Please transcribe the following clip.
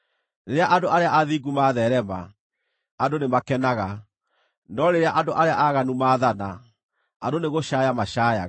Rĩrĩa andũ arĩa athingu matheerema, andũ nĩmakenaga; no rĩrĩa andũ arĩa aaganu maathana, andũ nĩgũcaaya macaayaga.